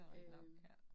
Øh